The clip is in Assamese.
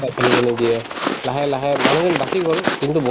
তাত থাকিব নিদিয়ে লাহে লাহে মানুহজন বাচি গল কিন্তু